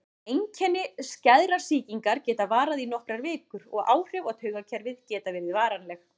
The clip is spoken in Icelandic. Einkenni skæðrar sýkingar geta varað í nokkrar vikur og áhrif á taugakerfið geta verið varanleg.